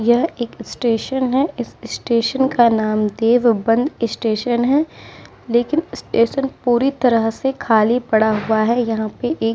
यह एक स्टेशन है। इस स्टेशन का नाम देव बंद स्टेशन है। लेकिन स्टेशन पूरी तरह से खाली पड़ा हुआ है। यहाँ पे एक --